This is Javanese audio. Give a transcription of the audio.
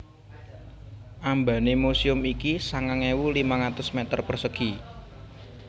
Ambané muséum iki sangang ewu limang atus mèter persegi